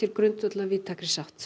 grundvöll að víðtækri sátt